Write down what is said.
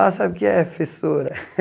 Ah, sabe o que é, professora?